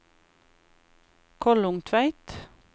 Kollungtveit